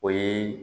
O ye